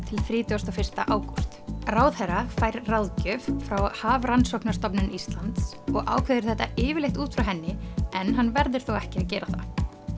til þrítugasta og fyrsta ágúst ráðherra fær ráðgjöf frá Hafrannsóknastofnun Íslands og ákveður þetta yfirleitt út frá henni en hann verður þó ekki að gera það